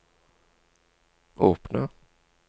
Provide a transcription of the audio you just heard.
åpne